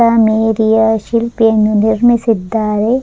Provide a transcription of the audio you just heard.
ಸಾ ಮೇರಿಯ ಶಿಲ್ಪಿ ಯನ್ನು ನಿರ್ಮಿಸಿದ್ದಾರೆ.